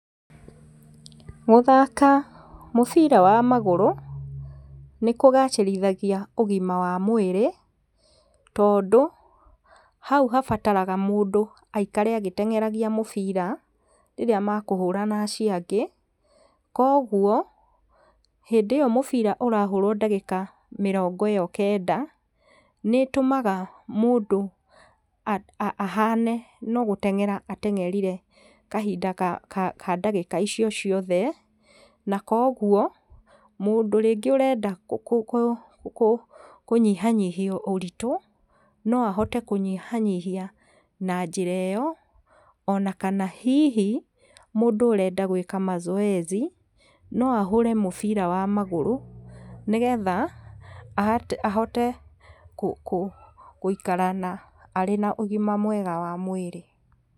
Gũthaka mũbira wa magũrũ, nĩ kũgacĩrithagia ũgima wa mwĩrĩ, tondũ hau habataraga mũndũ aikare agĩtengeragia mũbira rĩrĩa mekũhũra nacio angĩ, koguo hĩndĩ ĩyo mũbira ũrahũrwo ndagĩka mĩrongo ĩyo kenda, nĩtũmaga mũndũ a ahane no gũtengera atengerire kahinda ka ka ndagĩka icio ciothe, na koguo mũndũ rĩngĩ ũrenda kũ kũ kũ kũnyhihanyihia ũritũ, no ahote kũnyihanyhihia na njĩra ĩyo, ona kana hihi mũndũ ũrenda gwĩka mazoezi no ahũre mũbira wa magũrũ, nĩgetha ahate ahote kũ kũ gũikara na arĩ na ũgima mwega wa mwĩrĩ.